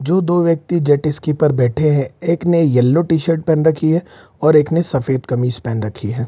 जो दो व्यक्ति जेट स्की पर बैठे हैं एक ने येलो टी-शर्ट पहन रखी है और एक नहीं सफेद कमीज पहन रखी है।